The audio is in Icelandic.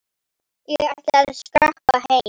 Ég ætla að skreppa heim.